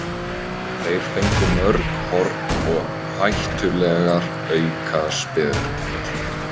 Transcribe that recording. Þeir fengu mörg horn og hættulegar aukaspyrnur.